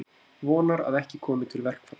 Vonar að ekki komi til verkfalls